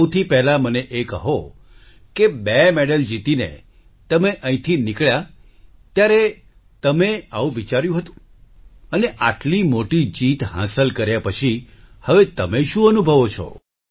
સૌથી પહેલા મને એ કહો કે બે મેડલ જીતીને તમે અહીંથી નીકળ્યા ત્યારે તમે આવું વિચાર્યું હતું અને આટલી મોટી જીત હાંસલ કર્યા પછી હવે તમે શું અનુભવો છો